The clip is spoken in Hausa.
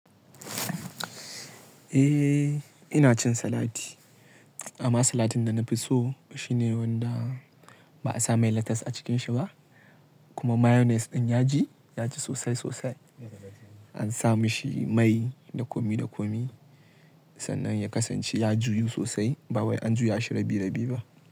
Eh, ina cin salati. Amma salatin da na fi so shine wanda ba a sa mai lettuce a cikin shi ba, kuma mayonnaise ɗin yaji yaji sosai sosai. An sa mashi mai da komi da komi, sannan ya kasance ya juyu sosai ba wai an juya shi rabi rabi ba.